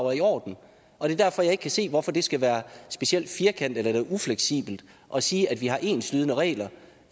er i orden det er derfor jeg ikke kan se hvorfor det skal være specielt firkantet og ufleksibelt at sige at vi har enslydende regler